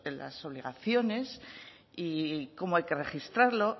las obligaciones y cómo hay que registrarlo